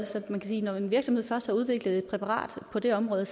når en virksomhed først har udviklet et præparat på det område